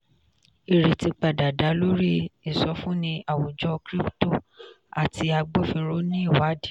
ìrètí padà dá lórí ìsọfúnni àwùjọ crypto àti agbófinró ní ìwádìí.